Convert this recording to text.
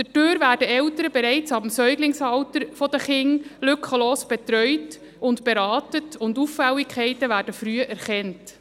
Dadurch werden Eltern bereits ab dem Säuglingsalter der Kinder lückenlos betreut und beraten, und Auffälligkeiten werden früh erkannt.